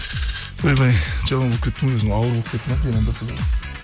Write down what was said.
ойбай жаман болып кеттім өзім ауыр болып кетті ме